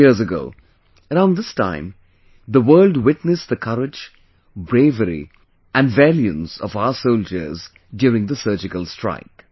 Four years ago, around this time, the world witnessed the courage, bravery and valiance of our soldiers during the Surgical Strike